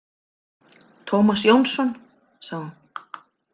Tómas Jónsson, sagði hún.